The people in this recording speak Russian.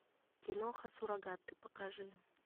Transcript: киноха суррогаты покажи